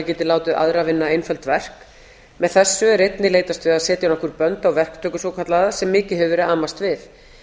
geti látið aðra vinna einföld verk með þessu er einnig leitast við að setja nokkur bönd á verktöku svokallaða sem mikið hefur verið amast við